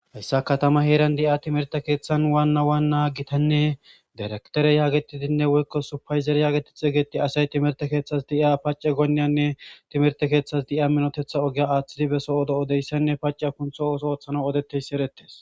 hayssa katama heeran di7a timerte keeththan waanna waanna gitanne direktere yaagetidinne woykko supayzere yaageti xe geti asay timerte keeththas di7iya pace gonneyanne timerte keeththas di7iya minotetha ogiya aaththidi beso odo odeyssenne pace kuntho oso ooththana odetteyssi erettes